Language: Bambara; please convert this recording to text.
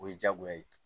O ye diyagoya ye